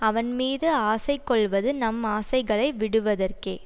அவன் மீது ஆசை கொள்வது நம் ஆசைகளை விடுவதற்கே